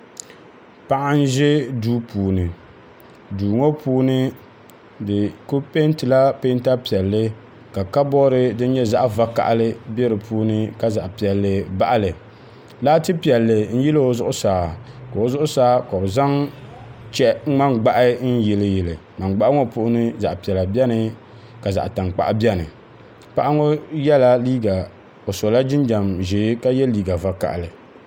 Paɣi ʒɛ duu puuni duu ŋɔ puuni di ku pɛntila peenta piɛli ka kaboori din nyɛ zaɣ vakahili nyɛ din bɛ duun ŋɔ puuni ka zaɣ piɛli baɣili laati piɛli n n yiloo zuɣusaa ka o zuɣusaa ka bɛ zan ŋman gbahi n yiliyili ŋman gbahi ŋɔ puuni piɛla bɛni ka zaɣ tankpaɣu bɛni paɣi ŋɔ yɛla o sola jinjam ʒee ka yɛ liiga vakahili